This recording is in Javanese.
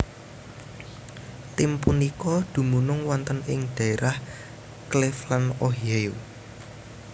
Tim punika dumunung wonten ing dhaérah Cleveland Ohio